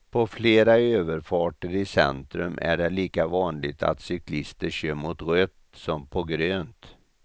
På flera överfarter i centrum är det lika vanligt att cyklister kör mot rött som på grönt.